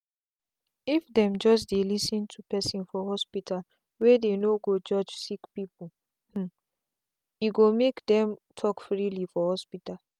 if them just dey lis ten to person for hospitalwey dey no go judge sick people hmmme go make dem talk freely for hospital.